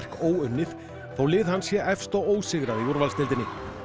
óunnið þótt lið hans sé efst og ósigrað í úrvalsdeildinni